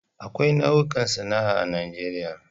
Akwai nau'ikan sana'a daban-daban.